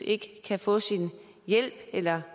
ikke kan få sin hjælp eller